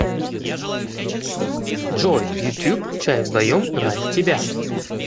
джой ютюб чай вдвоем ради тебя